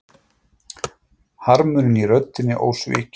Harmurinn í röddinni ósvikinn.